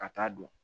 Ka taa don